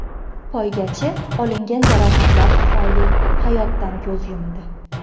Poygachi olingan jarohatlar tufayli hayotdan ko‘z yumdi.